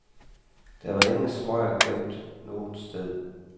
Der var ingen smøger gemt noget sted.